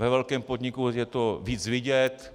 Ve velkém podniku je to víc vidět.